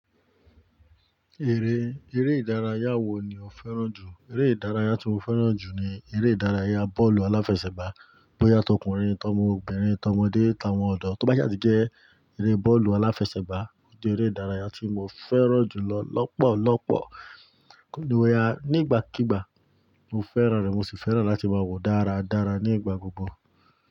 Eré, eré ìdárayá wo ni o fẹ́ràn jù? Eré ìdárayá tí mo fẹ́ràn jù ni eré ìdárayá bọ́ọ̀lù aláfẹsẹ̀gbá. Bóyá tọkùnrin, tọ́mọbìnrin, tọ́mọdé, táwọn ọ̀dọ́, tó bá sá jẹ́ ẹrẹ́ bọ́ọ̀lù aláfẹsẹ̀gbá jẹ́ eré ìdárayá tí mo fẹ́ràn jù lọ lọ́pọ̀lọ́pọ̀. Kíni wáyà, nígbàkígbà mo fẹ́ràn rẹ̀ mo sì fẹ́ràn láti máa wòó dáradára ní ìgbà gbogbo.